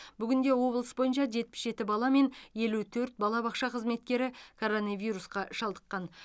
бүгінде облыс бойынша жетпіс жеті бала мен елу төрт балабақша қызметкері коронавирусқа шалдыққан